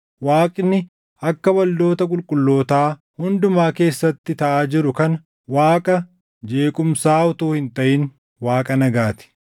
Waaqni akka waldoota qulqullootaa hundumaa keessatti taʼaa jiru kana Waaqa jeequmsaa utuu hin taʼin Waaqa nagaa ti.